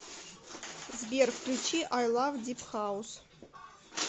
сбер включи ай лав дип хаус